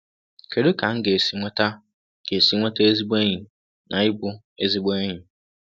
Kedu ka m ga-esi nweta ga-esi nweta ezigbo enyi na ịbụ ezigbo enyi?